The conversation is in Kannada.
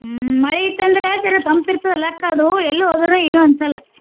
ಹ್ಮ ಮಳಿ ಇತ್ತ ಅಂದ್ರ ಜರಾ ತಂಪ ಇರ್ತದ ಅಲಾ ಅಕ್ಕ ಅದು ಎಲ್ಲಿ ಹೋದರೂ ಏನು ಅನ್ಸಲ್ಲ.